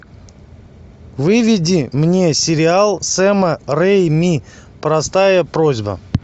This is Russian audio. выведи мне сериал сэма рэйми простая просьба